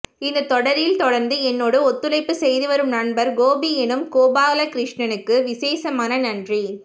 இந்த தொடரில் தொடர்ந்து என்னோடு ஒத்துழைப்பு செய்துவரும் நண்பர் கோபி எனும் கோபாலகிருஷ்ணனுக்கு விசேசமான நன்றி